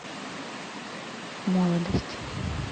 молодость